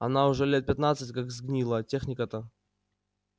она уже лет пятнадцать как сгнила техника-то